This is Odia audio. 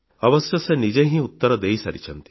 ଅବଶ୍ୟ ସେ ନିଜେ ହିଁ ଉତ୍ତର ଦେଇସାରିଛନ୍ତି